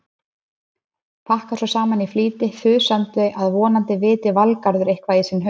Pakkar svo saman í flýti, þusandi að vonandi viti Valgarður eitthvað í sinn haus.